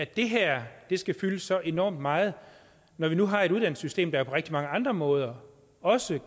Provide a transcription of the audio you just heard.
det her skal fylde så enormt meget når vi nu har et uddannelsessystem der på rigtig mange andre måder også